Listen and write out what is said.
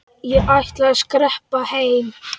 Ég ætla að skreppa heim.